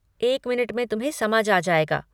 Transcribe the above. एक मिनट में तुम्हें समझ आ जाएगा।